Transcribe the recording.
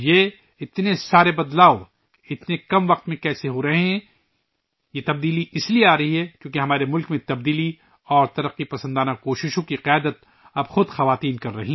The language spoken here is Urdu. اتنے کم وقت میں یہ ساری تبدیلیاں کیسے ہو رہی ہیں؟ یہ تبدیلیاں اس لئے آ رہی ہے کہ اب خواتین خود ہمارے ملک میں تبدیلی اور ترقی کی کوششوں کی قیادت کر رہی ہیں